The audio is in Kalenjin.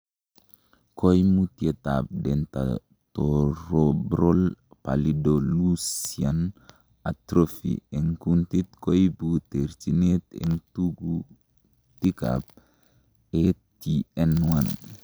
Koimutietab Dentatorubral pallidoluysian atrophy en kuntit koibu terchinet en tekutikab ATN1.